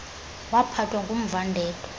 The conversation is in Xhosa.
waphathwa ngumva ndedwa